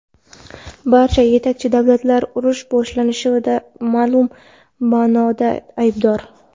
Barcha yetakchi davlatlar urush boshlanishida ma’lum ma’noda aybdor.